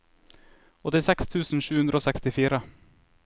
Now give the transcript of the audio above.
åttiseks tusen sju hundre og sekstifire